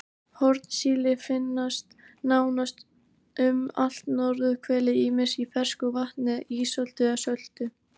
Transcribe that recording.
Hornsíli finnst nánast um allt norðurhvelið ýmist í fersku vatni, ísöltu eða söltu.